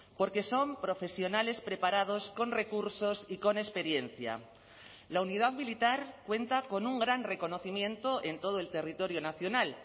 porque son profesionales preparados con recursos y con experiencia la unidad militar cuenta con un gran reconocimiento en todo el territorio nacional